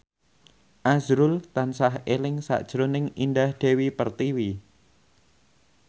azrul tansah eling sakjroning Indah Dewi Pertiwi